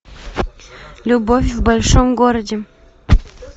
любовь в большом городе